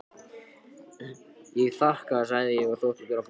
Ég þakka sagði ég og þóttist vera fúl.